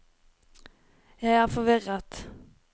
jeg er forvirret